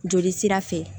Joli sira fɛ